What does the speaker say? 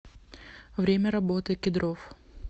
время работы кедровъ